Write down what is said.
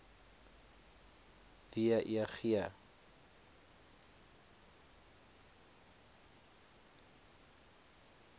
w e g